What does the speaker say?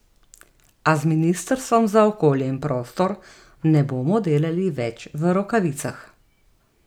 A z ministrstvom za okolje in prostor ne bomo delali več v rokavicah.